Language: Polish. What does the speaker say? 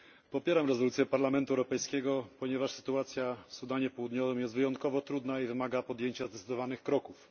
Popieram rezolucję Parlamentu Europejskiego, ponieważ sytuacja w Sudanie Południowym jest wyjątkowo trudna i wymaga podjęcia zdecydowanych kroków.